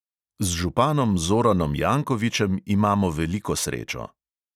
Z županom zoranom jankovičem imamo veliko srečo.